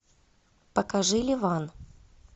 покажи ливан